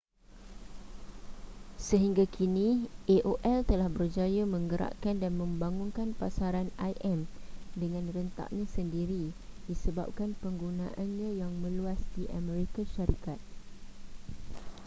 sehingga kini aol telah berjaya menggerakkan dan membangunkan pasaran im dengan rentaknya sendiri disebabkan penggunaannya yang meluas di amerika syarikat